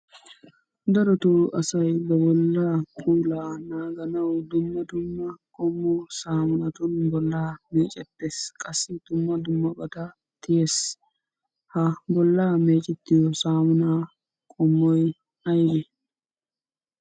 Darotoo asay ba bollaa puulaa naaganawu dumma dumma qommo saamunatun bollaa meecettettes. qassi dumma dummabata tiyes. Ha bollaa meecettiyo saamunaa qommoy ayibee?